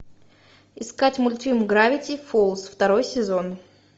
искать мультфильм гравити фолз второй сезон